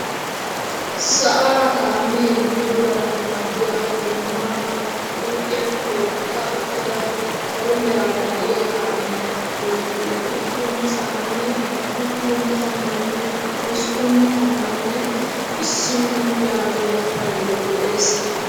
Sa'aara kaamee bululanawu maaddiyaa goomaa ba huuphphiyaan tookka uttida salo meraara de'iyaa kaamiyaa bolli uduppun sha'anne udupun tammanne hosppun tammanne isiino yaagiyaa paydoy de'ees!